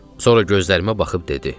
Sonra gözlərimə baxıb dedi: